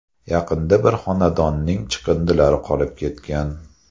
Yaqinda bir xonadonning chiqindilari qolib ketgan.